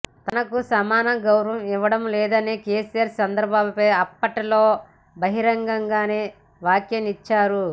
తనకు సమాన గౌరవం ఇవ్వడం లేదని కెసిఆర్ చంద్రబాబుపై అప్పట్లో బహిరంగంగానే వ్యాఖ్యానించారు